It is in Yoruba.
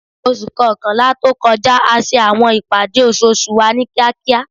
Oṣu kọkanla to kọja a ṣe awọn ipade oṣooṣu wa ni kiakia